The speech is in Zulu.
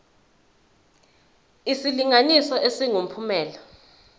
isilinganiso esingu uphumelele